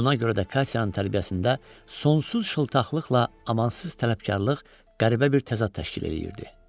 Buna görə də Katyanın tərbiyəsində sonsuz şıltaqlıqla amansız tələbkarlıq qəribə bir təzad təşkil eləyirdi.